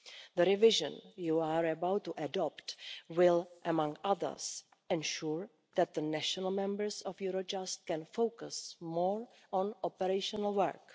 The revision you are about to adopt will, among other things, ensure that the national members of Eurojust can focus more on operational work.